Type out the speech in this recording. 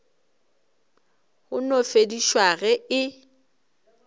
ka no fedišwa ge e